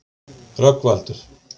Rögnvaldur